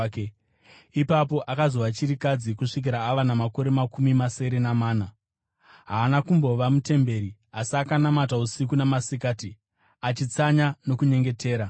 ipapo akazova chirikadzi kusvikira ava namakore makumi masere namana. Haana kumbobva mutemberi asi akanamata usiku namasikati, achitsanya nokunyengetera.